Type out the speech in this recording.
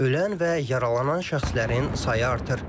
Ölən və yaralanan şəxslərin sayı artır.